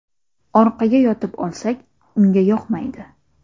Orqaga yotib olsak, unga yoqmaydi.